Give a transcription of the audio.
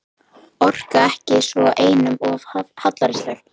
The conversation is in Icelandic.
Orka ekki svona, einum of hallærislegt.